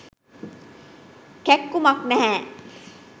කැක්කුමක් නැහැ.